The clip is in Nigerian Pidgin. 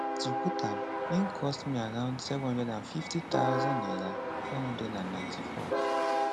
to put am in cost me around 750000 naira 494